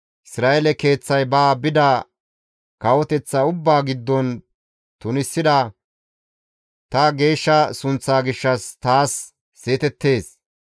Isra7eele keeththay ba bida kawoteththata ubbaa giddon tunisida ta geeshsha sunththa gishshas taas seetettees.